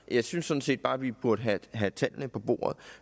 jeg synes sådan set bare at vi burde have tallene på bordet